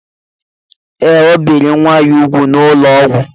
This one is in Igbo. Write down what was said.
Ee, o biri nwa ya úgwù n'ụlọ ọgwụ